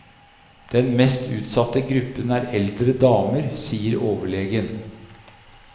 Den mest utsatte gruppen er eldre damer, sier overlegen.